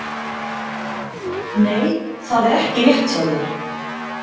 Nei, það er ekki rétt hjá þér!